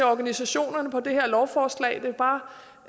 organisationerne på det her lovforslag og jeg vil bare